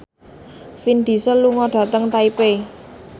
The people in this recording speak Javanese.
Vin Diesel lunga dhateng Taipei